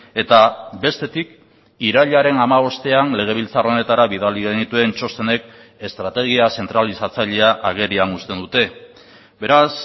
eta bestetik irailaren hamabostean legebiltzar honetara bidali genituen txostenek estrategia zentralizatzailea agerian uzten dute beraz